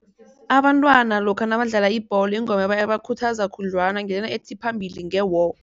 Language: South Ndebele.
Abantwana lokha nabadlala ibholo ingoma ebakhuthaza khudlwana ngileya ethi phambili nge-war.